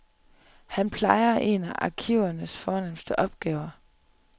Han plejer en af arkivernes fornemste opgaver.